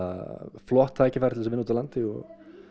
flott tækifæri til að vinna úti á landi og